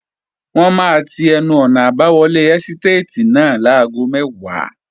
Wọ́n máa ti ẹnu-ọ̀nà àbáwọlé ẹ́stàtì náà láago mẹ́wàá